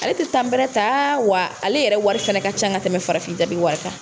Ale ti bɛrɛ ta wa ale yɛrɛ wari fɛnɛ ka ca ka tɛmɛ farafin jabi wari kan.